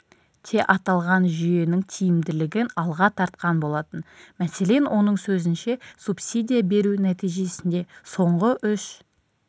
те аталған жүйенің тиімділігін алға тартқан болатын мәселен оның сөзінше субсидия беру нәтижесінде соңғы үш